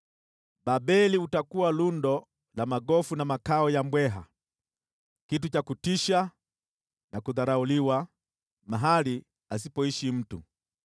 Babeli utakuwa lundo la magofu na makao ya mbweha, kitu cha kutisha na kudharauliwa, mahali asipoishi mtu.